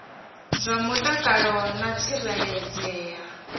zwa mutakalo na u tsireledzea